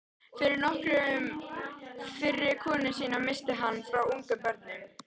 Fyrri konu sína missti hann frá ungum börnum.